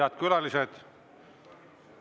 Head külalised!